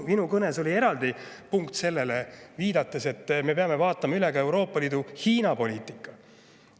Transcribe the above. Minu kõnes oli eraldi punkt selle kohta, et me peame vaatama üle ka Euroopa Liidu Hiina-poliitika.